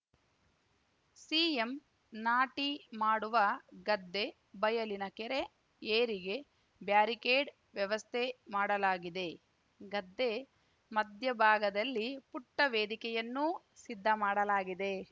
CM ನಾಟಿ ಮಾಡುವ ಗದ್ದೆ ಬಯಲಿನ ಕೆರೆ ಏರಿಗೆ ಬ್ಯಾರಿಕೇಡ್‌ ವ್ಯವಸ್ಥೆ ಮಾಡಲಾಗಿದೆ ಗದ್ದೆ ಮಧ್ಯಭಾಗದಲ್ಲಿ ಪುಟ್ಟವೇದಿಕೆಯನ್ನೂ ಸಿದ್ಧ ಮಾಡಲಾಗಿದೆ